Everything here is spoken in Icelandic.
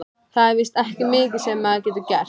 Það er víst ekki mikið sem maður getur gert.